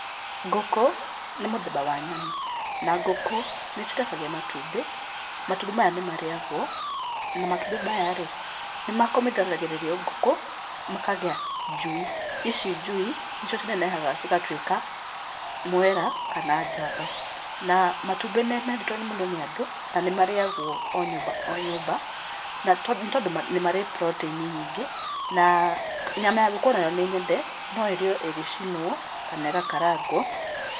Ngũkũ, nĩ mũthemba wa nyoni na ngũkũ nĩcĩrekagĩa matumbĩ. matumbĩ maya nĩ marĩagwo na matumbĩ maya rĩ, nĩmakomithanagĩrĩrio ngũkũ makagĩa njui, ici njui nĩcio cĩnenehaga cĩgatwĩka, mwera kana njamba na matumbĩ nĩmeendetwo mũno nĩ andũ, na nĩ marĩagwo o nyũmba o nyũmba, nĩ tondũ nĩ marĩ proteini nyingĩ na nyama ya ngũkũ nayo nĩ nyende, no ĩrĩo ĩgĩcinwo kana gũkaranga.